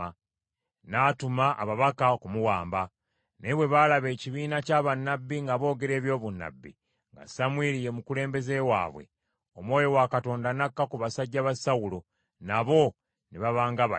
n’atuma ababaka okumuwamba. Naye bwe baalaba ekibiina kya bannabbi nga boogera eby’obunnabbi, nga Samwiri ye mukulembeze waabwe, Omwoyo wa Katonda n’akka ku basajja ba Sawulo, nabo ne baba nga bali.